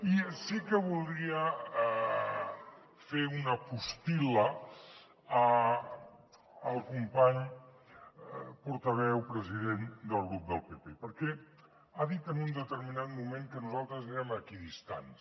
i sí que voldria fer una postil·la al company portaveu president del grup del pp perquè ha dit en un determinat moment que nosaltres érem equidistants